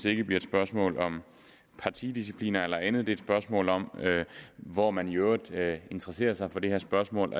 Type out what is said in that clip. ikke bliver et spørgsmål om partidisciplin eller andet men et spørgsmål om hvor man i øvrigt interesserer sig for det her spørgsmål